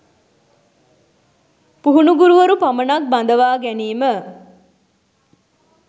පුහුණු ගුරුවරු පමණක් බඳවා ගැනීම